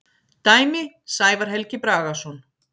Dæmi: Sævar Helgi Bragason.